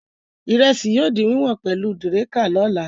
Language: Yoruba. Ìrẹsì yóò di wíwọ̀n pẹ̀lú dẹ̀ríká lọ́la.